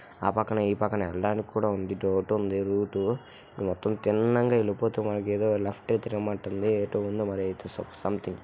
ఆ పక్కన ఈ పక్కన వెళ్ళడానికి కూడా ఉంది రూట్ మొత్తం తిన్నంగా వెళ్ళిపోతు మనకేదో ఏదో లెఫ్ట్ కి తిరగ మంటుంది --